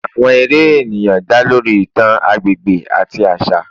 Awọn eré eniyan da lori itan agbegbe ati aṣa